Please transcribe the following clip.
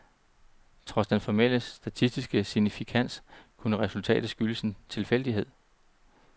Trods den formelle statistiske signifikans, kunne resultatet skyldes en tilfældighed.